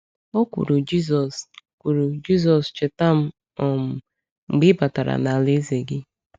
O kwuru, “Jisọs, kwuru, “Jisọs, cheta m um mgbe ị batara n’alaeze gị.”